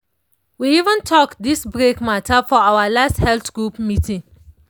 we even talk this break matter for our last health group meeting.